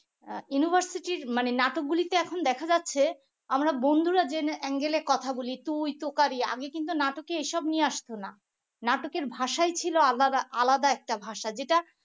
আহ university র মানে নাটকগুলিতে এখন দেখা যাচ্ছে আমরা বন্ধুরা যে angle এ কথা বলি তুই তুকারি আগে কিন্তু নাটকে এসব নিয়ে আসতো না নাটকের ভাষায় ছিল আলা~আলাদা একটা ভাষা যেটা